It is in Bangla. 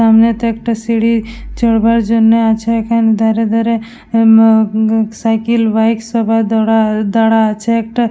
সামনেতে একটা সিঁড়ি চড়বার জন্য আছে । এখানে দাঁড়া দাঁড়া উমম সাইকেল বাইক সবাই দাঁড়া আছে একটা--